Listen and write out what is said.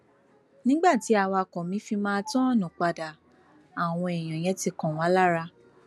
nígbà tí awakọ mi fi máa tọọnù padà àwọn èèyàn yẹn ti kan wá lára